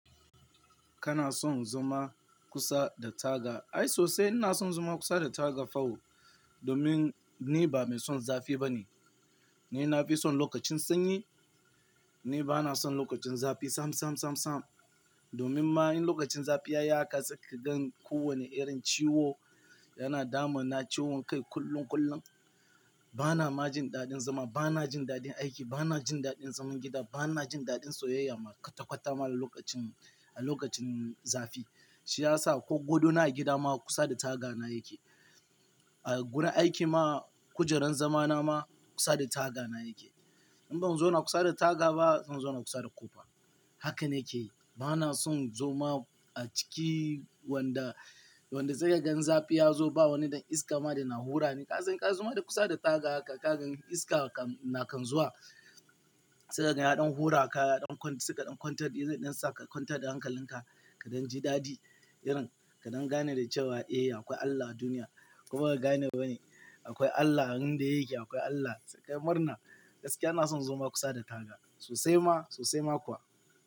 Kana son zama kusa da taga? Ai sosai ina son zama kusa da taga fa o, domin ni ba mai son zafi ba ne. Ni na fi son lokacin sanyi, ni ba na son lokacin zafi sam, sam, sam, sam. Domin ma in lokacin zafi ya yi haka sai ka gan ko wane irin ciwo yana damun na ciwon kai kullum, kullum. Ba na majin daɗin zama, ba na jin daɗin aiki, ba na jin daɗin zaman gida, ba na jin daɗin soyayya ma kwata-kwata ma a lokacin, a lokacin zafi. Shi ya sa ko godona a gida ma kusa da taga na yake. A gurin aiki ma kujeran zama na ma kusa da taga na yake. In ban zo na kusa da taga ba, zan zo na kusa da ƙofa. Haka na ke yi. Ba na son zama a ciki wanda, wanda sai ka gan zafi ya zo ba wani dan iska ma yana hura ne. Kaza, ka zo ma da kusa da taga haka ka gan iska na kan zuwa. Sai ka gan ya ɗon hura ka, ya ɗon siƙa ɗon contact, ya ɗon saka contact da hankalin ka, kaɗan ji daɗi irin kaɗan gane da cewa eh akwai Allah duniya. Kuma ba gane ba ne. Akwai Allah abin da yake, akwai Allah sai ka yi murna. Gaskiya ina son zama kusa da taga sosai ma, sosai ma kuwa.